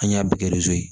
An y'a bɛɛ kɛ ye